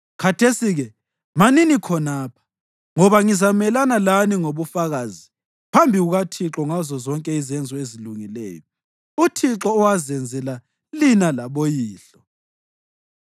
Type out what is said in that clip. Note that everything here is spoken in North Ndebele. Khathesi-ke, manini khonapha, ngoba ngizamelana lani ngobufakazi phambi kukaThixo ngazozonke izenzo ezilungileyo uThixo owazenzela lina laboyihlo.